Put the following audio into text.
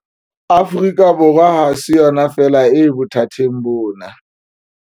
Afrika Borwa ha se yona feela e bothateng bona.